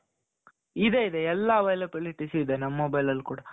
ಇದೆ ಇದೆ ಎಲ್ಲಾ availabilities ಇದೆ ನಮ್ mobile ಅಲ್ಲಿ ಕೂಡಾ.